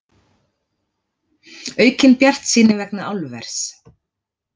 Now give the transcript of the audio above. Aukin bjartsýni vegna álvers